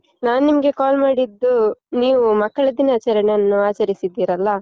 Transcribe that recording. ನಾನ್ ನಿಮ್ಗೆ call ಮಾಡಿದ್ದು ನೀವು ಮಕ್ಕಳ ದಿನಾಚರಣೆಯನ್ನು ಆಚರಿಸಿದ್ದೀರಲ್ಲ?